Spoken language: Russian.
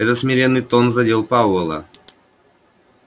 этот смиренный тон задел пауэлла